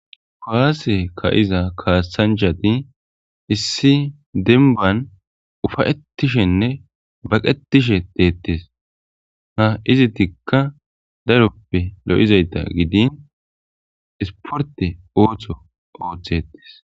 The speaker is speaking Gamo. Kuwase ka'iza kaasanjati issi denban ufa'ettishenne baqetishe deettes ha izi tikka daroppe lo'izayta gidin isporte oochtho ooththetes.